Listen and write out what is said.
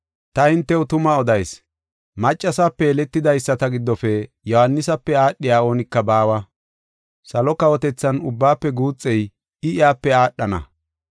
Ta hintew tuma odayis; maccasape yeletidaysata giddofe Yohaanisape aadhey oonika baawa; salo kawotethan ubbaafe guuxey I, iyape aadhana.